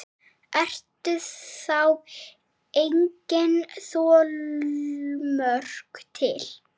Eru þá engin þolmörk til?